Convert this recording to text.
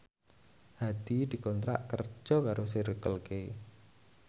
Hadi dikontrak kerja karo Circle K